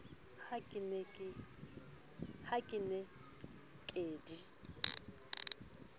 ha ke ne ke di